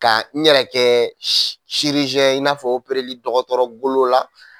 Ka n yɛrɛ kɛ i n'a fɔ opereli dɔgɔtɔrɔ golo la